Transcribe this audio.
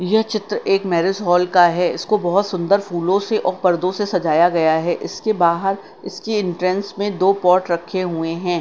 यह चित्र एक मैरिज हॉल का है इसको बहुत सुंदर फूलों से और पर्दों से सजाया गया है इसके बाहर इसके एंट्रेंस में दो पॉट रखे हुए हैं।